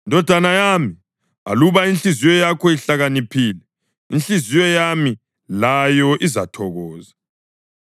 Ndodana yami, aluba inhliziyo yakho ihlakaniphile, inhliziyo yami layo izathokoza;